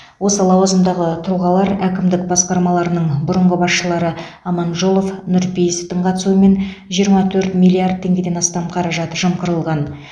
осы лауазымдағы тұлғалар әкімдік басқармаларының бұрынғы басшылары аманжолов нұрпейісовтың қатысуымен жиырма төрт миллиард теңгеден астам қаражат жымқырылған